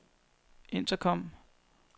intercom